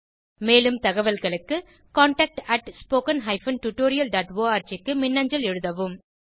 மேலும் தகவல்களுக்கு contactspoken tutorialorg க்கு மின்னஞ்சல் எழுதவும்